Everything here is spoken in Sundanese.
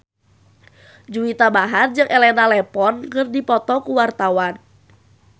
Juwita Bahar jeung Elena Levon keur dipoto ku wartawan